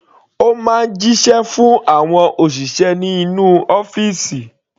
Ó máa ń jíṣẹ́ fún àwọn òṣìṣẹ́ inú ọ́fìsì.